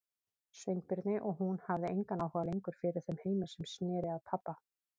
Sveinbirni og hún hafði engan áhuga lengur fyrir þeim heimi sem sneri að pabba.